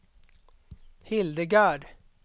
Hildegard